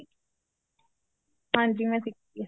ਹਾਂਜੀ ਮੈਂ ਸਿੱਖੀ ਏ